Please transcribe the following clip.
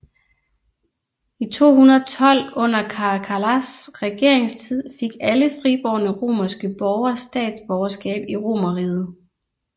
I 212 under Caracallas regeringstid fik alle fribårne romerske borger statsborgerskab i Romerriget